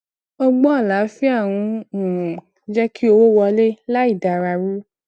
ọgbọn àlàáfíà ń um jé kí owó wọlé láì da ara ru